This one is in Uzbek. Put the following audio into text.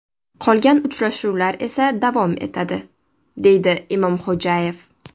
Qolgan uchrashuvlar esa davom etadi”, deydi Imomxo‘jayev.